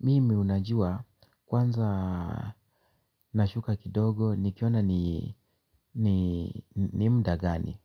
Mimi unajua kwanza nashuka kidogo nikiona ni muda gani.